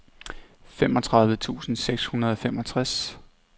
femogtredive tusind seks hundrede og femogtres